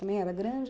Também era grande?